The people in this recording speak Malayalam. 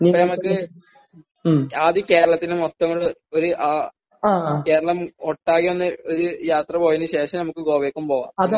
ഇനി നമുക്ക് ആദ്യം കേരളത്തിൽ മൊത്തം ഒരു ഏഹ് കേരളം ഒട്ടാകെ ഒന്ന് ഒരു യാത്ര പോയതിന് ശേഷം നമുക്ക് ഗോവക്കും പോകാം. പിന്നെ